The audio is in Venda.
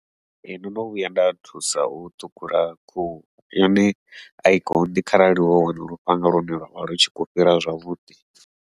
Ee ndono vhuya nda thusa u ṱhukhula khuhu, yone ai konḓi kharali wa wana lufhanga lune lwavha lutshi khou fhira zwavhuḓi.